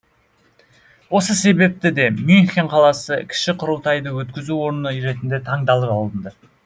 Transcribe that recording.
осы себепті де мюнхен қаласы кіші құрылтайды өткізу орны ретінде таңдалып алынды